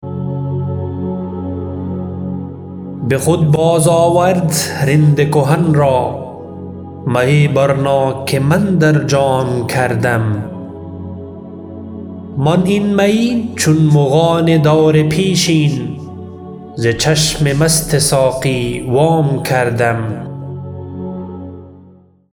به خود باز آورد رند کهن را می برنا که من در جام کردم من این می چون مغان دور پیشین ز چشم مست ساقی وام کردم